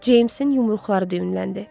Ceymsin yumruqları düyünləndi.